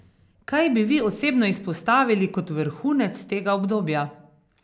Kaj bi vi osebno izpostavili kot vrhunec tega obdobja?